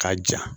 K'a ja